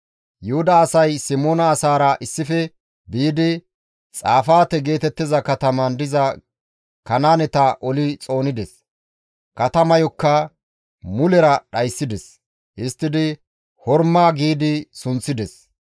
Yuhuda asay Simoona asaara issife biidi, Xafaate geetettiza katamaan diza Kanaaneta oli xoonides; katamayokka mulera dhayssides. Histtidi Horma giidi sunththides.